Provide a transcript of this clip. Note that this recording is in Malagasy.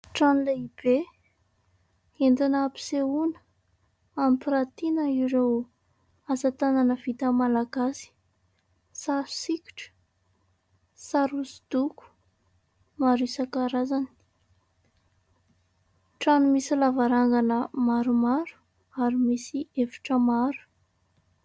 Trano lehibe, entina hampisehoana, hampiratiana ireo asatanana vita malagasy. Sary sikotra, sary hosodoko maro isankarazany ; trano misy lavarangana maromaro ary misy efitra maro.